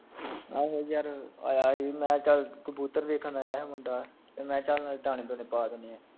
ਆਹੋ ਯਰ ਆਇਆ ਈ, ਮੈਂ ਚਲ ਕਬੂਤਰ ਦੇਖਣ ਆਇਆ ਹੀ ਮੁੰਡਾ, ਤੇ ਮੈਂ ਚਲ ਦਾਣੇ ਦੂਣੇ ਪਾ ਦਿਨੇ ਆਂ